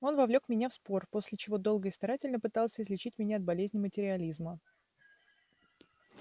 он вовлёк меня в спор после чего долго и старательно пытался излечить меня от болезни материализма